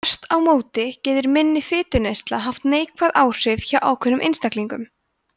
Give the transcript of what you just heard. þvert á móti getur minni fituneysla haft neikvæð áhrif hjá ákveðnum einstaklingum